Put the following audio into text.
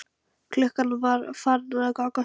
Klukkan var farin að ganga sjö.